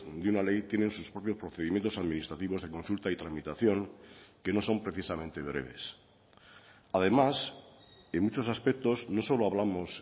de una ley tienen sus propios procedimientos administrativos de consulta y tramitación que no son precisamente breves además en muchos aspectos no solo hablamos